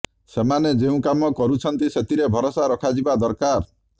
ସେମାନେ ଯେଉଁ କାମ କରୁଛନ୍ତି ସେଥିରେ ଭରସା ରଖାଯିବା ଦରକାର